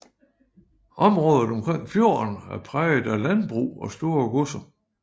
Området omkring fjorden er præget af landbrug og store godser